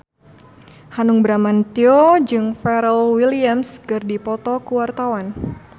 Hanung Bramantyo jeung Pharrell Williams keur dipoto ku wartawan